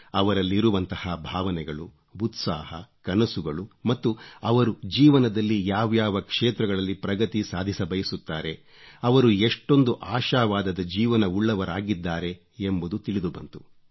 ಅವರಲ್ಲಿರುವಂಥ ಭಾವನೆಗಳು ಉತ್ಸಾಹ ಕನಸುಗಳು ಮತ್ತು ಅವರು ಜೀವನದಲ್ಲಿ ಯಾವ್ಯಾವ ಕ್ಷೇತ್ರಗಳಲ್ಲಿ ಪ್ರಗತಿ ಸಾಧಿಸಬಯಸುತ್ತಾರೆ ಅವರು ಎಷ್ಟೊಂದು ಆಶಾವಾದದ ಜೀವನವುಳ್ಳವರಾಗಿದ್ದಾರೆ ಎಂಬುದು ತಿಳಿದು ಬಂತು